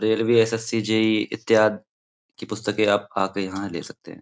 Railway SSC JEE इत्यादि की पुस्तकें आप आके यहाँ ले सकते हैं।